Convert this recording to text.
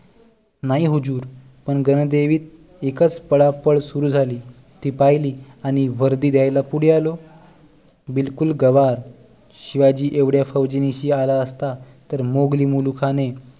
नाही हुजूर पण गणदेवीत एकच पळापळ सुरू झाली ती पहिली आणि वर्दी द्यायला पुढे आलो बिलकुल गंवार शिवाजी एवढ्या फौजे निशी आला असता तर मोंघली मुलूखाने